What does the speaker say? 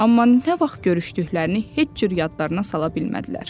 Amma nə vaxt görüşdüklərini heç cür yadlarına sala bilmədilər.